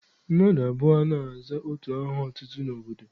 Mmadụ abụọ anaghị aza otu aha otutu n'obodo.